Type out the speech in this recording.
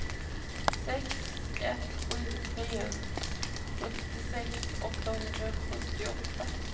sex ett sju tre sjuttiosex åttahundrasjuttioåtta